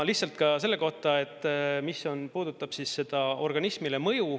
Lihtsalt veel selle kohta, mis puudutab seda mõju organismile.